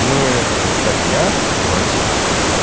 ну это же статья в россии